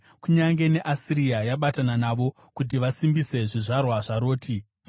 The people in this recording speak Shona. Kunyange neAsiria yabatana navo kuti vasimbise zvizvarwa zvaRoti. Sera